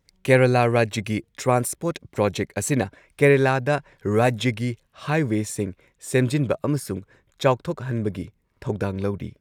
ꯀꯦꯔꯂꯥ ꯔꯥꯖ꯭ꯌꯒꯤ transport project ꯑꯁꯤꯅ ꯀꯦꯔꯂꯥꯒꯤ ꯔꯥꯖ꯭ꯌꯒꯤ ꯍꯥꯏꯋꯦꯁꯤꯡ ꯁꯦꯝꯖꯤꯟꯕ ꯑꯃꯁꯨꯡ ꯆꯥꯎꯊꯣꯛꯍꯟꯕꯒꯤ ꯊꯧꯗꯥꯡ ꯂꯧꯔꯤ꯫